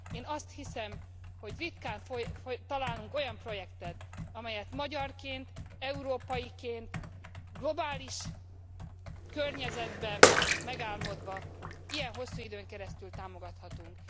Én azt hiszem, hogy ritkán találunk olyan projektet, amelyet magyarként, európaiként globális környezetben megálmodva ilyen hosszú időn keresztül támogathatunk.